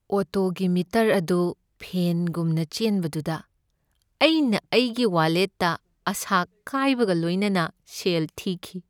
ꯑꯣꯇꯣꯒꯤ meter ꯑꯗꯨ ꯐꯦꯟꯒꯨꯝꯅ ꯆꯦꯟꯕꯗꯨꯗ ꯑꯩꯅ ꯑꯩꯒꯤ ꯋꯥꯂꯦꯠꯇ ꯑꯥꯁꯥ ꯀꯥꯏꯕꯒ ꯂꯣꯏꯅꯅ ꯁꯦꯜ ꯊꯤꯈꯤ꯫